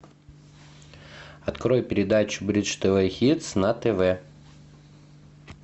открой передачу бридж тв хитс на тв